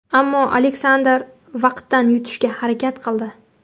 Ammo Aleksandr vaqtdan yutishga harakat qildi.